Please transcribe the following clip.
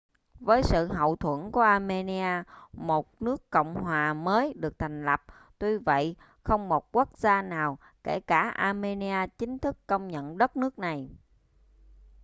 với sự hậu thuẫn của armenia một nước cộng hòa mới được thành lập tuy vậy không một quốc gia nào kể cả armenia chính thức công nhận đất nước này